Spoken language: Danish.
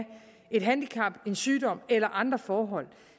et handicap en sygdom eller andre forhold